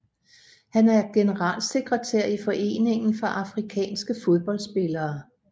Han er generalsekretær i Foreningen for afrikanske fodboldspillere